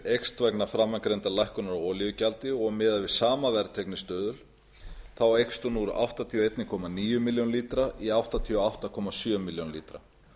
eykst vegna framangreindrar lækkunar á olíugjaldi og miðað við sama verðteygnistuðul eykst hún úr áttatíu og einn komma níu milljónum lítra í áttatíu og átta komma sjö milljónir lítra